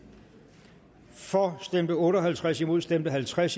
for stemte otte og halvtreds imod stemte halvtreds